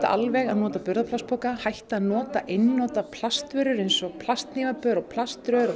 alveg að nota burðarplastpoka hætta að nota einnota plastvörur eins og plasthnífapör plaströr